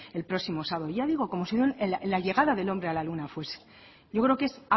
el próximo sábado ya digo como si la llegada del hombre a la luna fuese yo creo que es